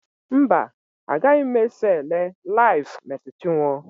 Mba, agaghị m eso ele LIVE Mercy Chinwo.